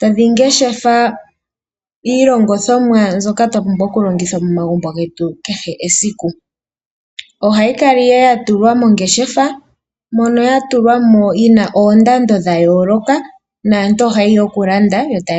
tadhi ngeshefa iilongithomwa mbyoka twa pumbwa okulongitha momagumbo getu kehe esiku. Ohayi kala nduno ya tulwa mongeshefa moka ya tulwa mo yi na oondando dha yooloka naantu ohaye ya okulanda.